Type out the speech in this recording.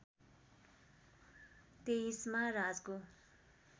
२३ मा राजको